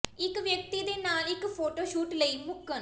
ਇੱਕ ਵਿਅਕਤੀ ਦੇ ਨਾਲ ਇੱਕ ਫੋਟੋ ਸ਼ੂਟ ਲਈ ਮੁੱਕਣ